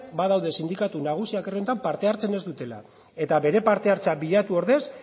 badaude sindikatu nagusiak parte hartzen ez dutenak eta bere parte hartzea bilatu ordez